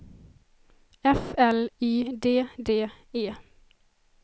F L Y D D E